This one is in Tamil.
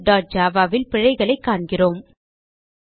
TestStudentjavaல் பிழைகளைக் காண்கிறோம்